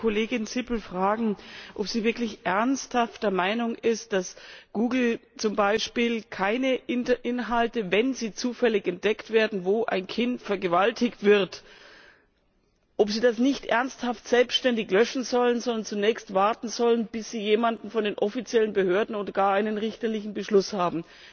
Ich wollte die Kollegin Sippel fragen, ob sie wirklich ernsthaft der Meinung ist, dass Google zum Beispiel keine Inhalte wenn sie zufällig entdeckt werden wo ein Kind vergewaltigt wird, selbständig löschen soll, sondern zunächst warten sollen, bis sie jemanden von den offiziellen Behörden oder gar einen richterlichen Beschluss haben.